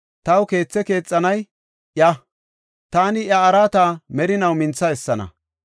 Taw keethe keexanay iya; taani iya araata merinaw mintha essana.